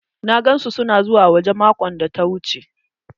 Na gan su su na zuwa waje maƙon da ta wuche.